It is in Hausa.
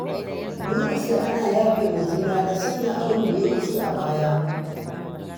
Dole sai ana yafe wa juna da sanya abunda ya wuce a baya.